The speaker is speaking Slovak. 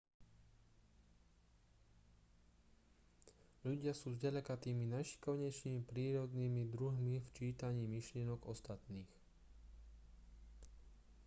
ľudia sú zďaleka tými najšikovnejšími prírodnými druhmi v čítaní myšlienok ostatných